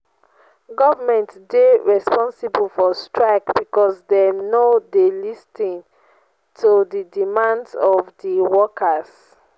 government dey responsible for strike because dem no dey lis ten to di demands of di workers.